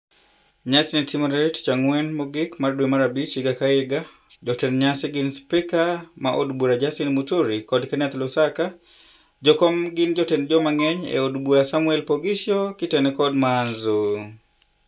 Nyasi ni timore tichang'wen mogik mar dwe mar abich higa ka higa. Jotend nyasi ni gin spika ma od bura Justin Muturi kod Kenneth Lusaka. Jokom gin jatend jomang'eny e od bura Samuel Poghsio kitene kod Maanzo.